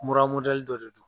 Mura modɛli dɔ de don